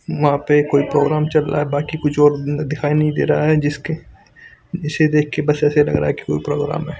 वहा पे कोई प्रोग्राम चल रहा है बाकि और कुछ दिखाई नहीं दे रहा है जिसके इसे देख कर बस ऐसा लग रहा है की कोई प्रोग्राम है.